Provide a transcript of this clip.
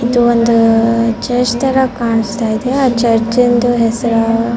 ಇದು ಒಂದು ಚರ್ಚ್ ತರ ಕಾಣ್ಸ್ತಾ ಇದೆ ಆ ಚರ್ಚಂದು ಹೆಸರು --